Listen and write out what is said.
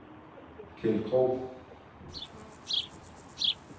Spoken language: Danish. Keld Krog